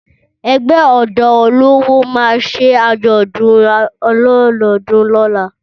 Ẹgbẹ́ ọ̀dọ́ olówó ma ṣe àjọ̀dún olọ́dodún lóla